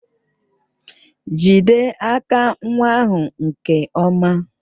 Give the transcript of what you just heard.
Jide aka nwa ahụ nke ọma!